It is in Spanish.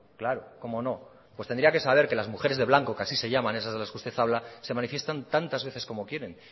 claro cómo no pues tendría que saber que las mujeres de blanco que así se llaman esas de las que usted habla se manifiestan tantas veces como quieren